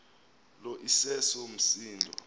lo iseso msindo